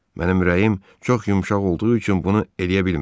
Mənim ürəyim çox yumşaq olduğu üçün bunu eləyə bilmirəm.